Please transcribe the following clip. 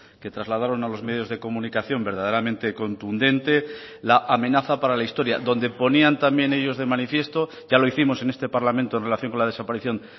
que trasladaron a los medios de comunicación verdaderamente contundente la amenaza para la historia donde ponían también ellos de manifiesto ya lo hicimos en este parlamento en relación con la desaparición